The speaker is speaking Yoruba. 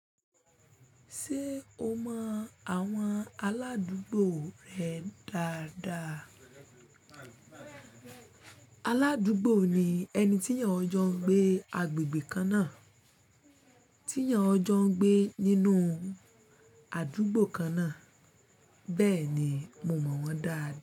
Ṣé o mọ àwọn aládúgbò rẹ dáadáa? Aládúgbò ni ẹni tí èyàn ọ jọ ń gbé agbègbè kan náà, tí èyàn ọ jọ ń gbé nínú àdúgbò kan náà. Bẹ́ẹ̀ ni, mo mọ̀ wọ́n dáadáa.